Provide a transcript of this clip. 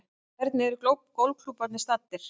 En hvernig eru golfklúbbarnir staddir